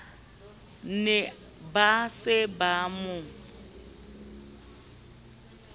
ne ba se ba mo